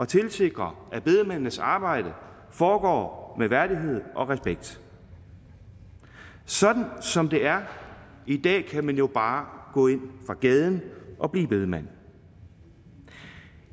tilsikrer at bedemændenes arbejde foregår med værdighed og respekt sådan som det er i dag kan man jo bare gå ind fra gaden og blive bedemand